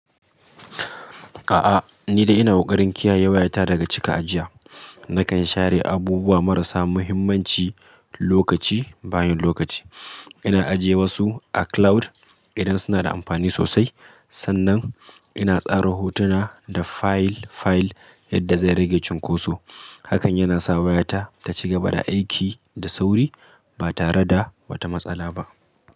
A'a, ni dai ina kokarin kiyaye wayata daga cika ajiya. Nakan share abubuwa marasa muhimmanci lokaci bayan lokaci. Ina ajiye wasu a cloud idan suna da amfani sosai. Sannan ina tsara hotuna da fayil-fayil yadda zai rage cunkoso. Hakan yana sa wayata taci gaba da aiki da sauri ba tare da wata matsala ba.